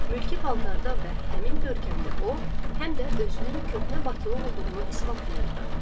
Mülkü paltarda və həmin görkəmdə o, həm də özünün köhnə bakılı olduğunu isbatlayırdı.